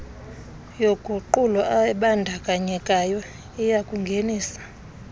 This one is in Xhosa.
yoguqulo ebandakanyekayo iyakungenisa